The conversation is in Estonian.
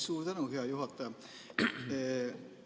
Suur tänu, hea juhataja!